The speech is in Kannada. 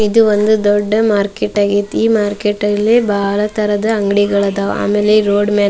ಇದು ಒಂದು ದೊಡ್ಡ ಮಾರ್ಕೆಟ್ ಆಗೈತಿ ಈ ಮಾರ್ಕೆಟ್ ಅಲ್ಲಿ ಬಹಳ ತರಹದ ಅಂಗಡಿಗಳು ಆದವು ಆಮೇಲೆ ರೋಡ್ ಮೇಲೆ --